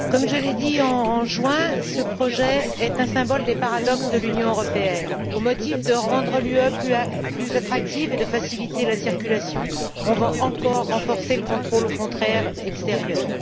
Monsieur le Président, comme je l'ai dit en juin, ce projet est un symbole des paradoxes de l'Union européenne. Au motif de rendre celle ci plus attractive et de faciliter la circulation, on va encore renforcer le contrôle aux frontières extérieures.